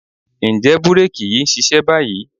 Ǹjẹ́ búréèkì yìí ń ṣiṣẹ́ báyìí?